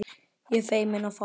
Ég feimin og fámál.